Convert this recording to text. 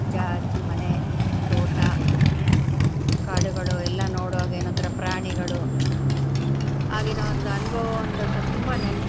ಅಜ್ಜ, ಅಜ್ಜಿ, ಮನೆ, ತೋಟ, ಕಾಡುಗಳು ಎಲ್ಲಾ ನೋಡುವಾಗ ಏನೋ ಒಂಥರಾ ಪ್ರಾಣಿಗಳು ಆಗಿನ ಒಂದು ಅನುಭವ ಒಂದು ತುಂಬಾ ನೆನ್ಪು.